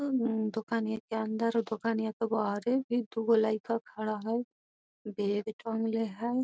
अम दुकान के अंदर और दुकान के बाहर दुगो लइका बाहर खड़ा ह।